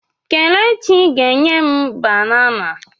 Kelechi ga enyem banana.